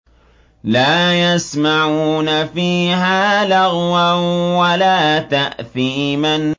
لَا يَسْمَعُونَ فِيهَا لَغْوًا وَلَا تَأْثِيمًا